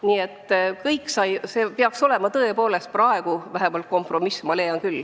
Nii et see peaks tõepoolest olema vähemalt kompromiss.